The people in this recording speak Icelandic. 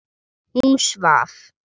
Hún svaf.